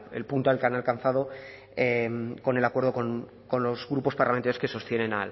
el punto al que han alcanzado con acuerdo con los grupos parlamentarios que sostienen